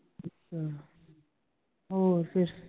ਹੋਰ ਫੇਰ?